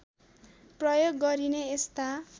प्रयोग गरिने यस्ता